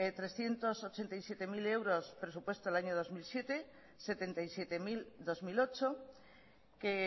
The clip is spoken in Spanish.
trescientos ochenta y siete mil euros presupuesto del año dos mil siete setenta y siete mil dos mil ocho que